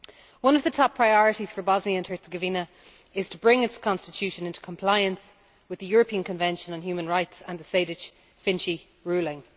One of the top priorities for Bosnia and Herzegovina is to bring its constitution into compliance with the European Convention of Human Rights and the Sejdić Finci ruling.